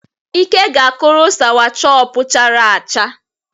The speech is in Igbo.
Ike ga-kụrụ sawachọpụ chara acha.